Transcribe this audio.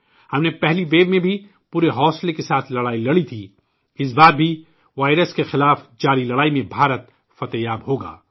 ہم نے پہلی لہر میں بھی پورے حوصلے کے ساتھ لڑائی لڑی تھی، اس بار بھی وائرس کے خلاف چل رہی لڑائی میں ہندوستان کی فتح ہوگی